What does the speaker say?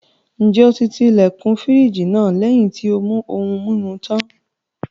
Ǹjẹ́ o ti ilẹ̀kùn fírìjì náà lẹ́yìn tí ó mú ohun-mimu tán?